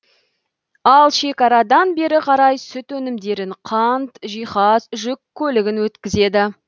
ал шекарадан бері қарай сүт өнімдерін қант жиһаз жүк көлігін өткізеді